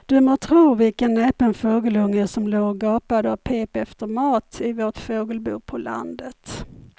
Du må tro vilken näpen fågelunge som låg och gapade och pep efter mat i vårt fågelbo på landet.